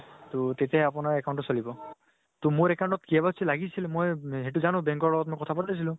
তʼ তেতিয়া আপোনাৰ account তো চলিব । তʼ মোৰ account ত KYC লাগিছিল, মই সেইতো জানো, bank ত মই কথা পাতিছিলো ।